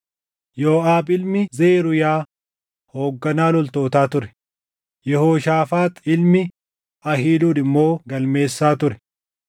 Yooʼaab ilmi Zeruuyaa hoogganaa loltootaa ture; Yehooshaafaax ilmi Ahiiluud immoo galmeessaa ture.